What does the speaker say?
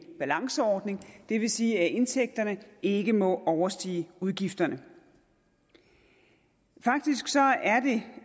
balanceordning det vil sige at indtægterne ikke må overstige udgifterne faktisk er det